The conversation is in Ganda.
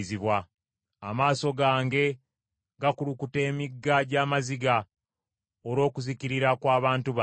Amaaso gange gakulukuta emigga gy’amaziga olw’okuzikirira kw’abantu bange.